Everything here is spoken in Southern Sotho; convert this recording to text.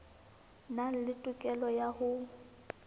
nang le tokelo ya ho